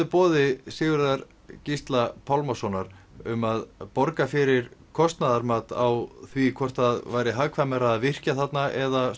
boði Sigurðar Gísla Pálmasonar um að borga fyrir kostnaðarmat á því hvort það væri hagkvæmara að virkja þarna eða